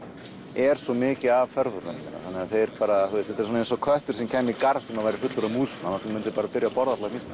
er svo mikið af ferðamönnum þetta er eins og köttur sem kæmi í garð sem væri fullur af músum hann myndi byrja að borða allar mýsnar